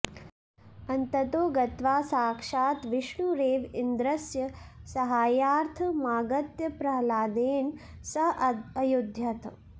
अन्ततो गत्वा साक्षात् विष्णुरेव इन्द्रस्य साहाय्यार्थमागत्य प्रह्लादेन सह अयुध्यत